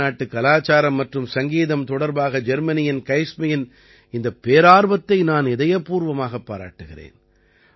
பாரத நாட்டுக் கலாச்சாரம் மற்றும் சங்கீதம் தொடர்பாக ஜெர்மனியின் கைஸ்மியின் இந்தப் பேரார்வத்தை நான் இதயப்பூர்வமாகப் பாராட்டுகிறேன்